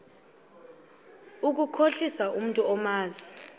ukukhohlisa umntu omazi